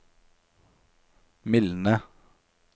mildne